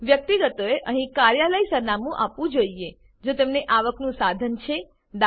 વ્યક્તિગતોએ અહીં કાર્યાલય સરનામું આપવું જોઈએ જો તેમનું આવકનું સાધન છે દા